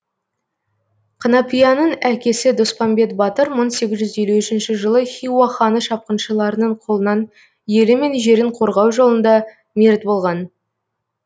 қанапияның әкесі доспамбет батыр мың сегіз жүз елу үшінші жылы хиуа ханы шапқыншыларының қолынан елі мен жерін қорғау жолында мерт болған